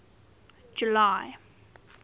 july